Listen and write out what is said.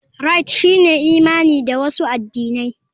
Rite shine imani da wasu addinai.